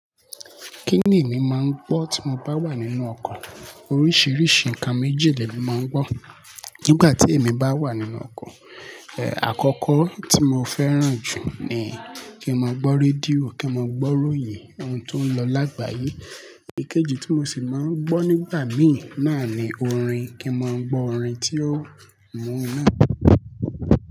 Kíni èmi máń gbọ́ tí mo bá wà nínú ọkọ̀. Oríṣìíríṣìí ǹkan méjì lè mi máa ń gbọ́ nígbà tí èmi bá wà nínú ọkọ̀. Ẹ̀, àkọ́kọ́ tí mo fẹ́ràn jù ni kí n máa gbọ́ rédíò, kí n máa gbọ́ròyìn ohun tó ń lọ lágbàyé. Ìkéji tí mo sì máa ń gbọ́ nígbà mi náà ni orin. Kí n máa gbọ́ orin tí ó mú un inú.